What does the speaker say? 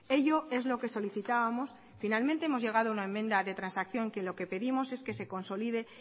ello es lo que solicitábamos finalmente hemos llegado a una enmienda de transacción que lo que pedimos es que se consolide